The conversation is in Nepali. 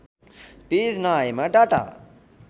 पेज नआएमा डाटा